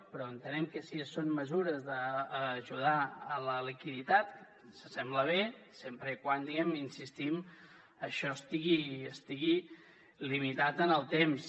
però entenem que si són mesures d’ajudar a la liquiditat ens sembla bé sempre que diguem ne hi insistim això estigui limitat en el temps